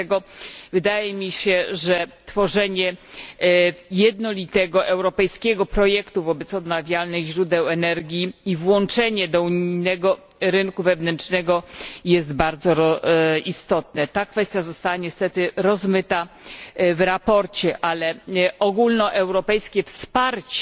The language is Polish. Dlatego wydaje mi się, że tworzenie jednolitego europejskiego projektu dotyczącego odnawialnych źródeł energii i włączenie go do unijnego rynku wewnętrznego jest bardzo istotne. Ta kwestia została niestety rozmyta w sprawozdaniu, ale ogólnoeuropejskie wsparcie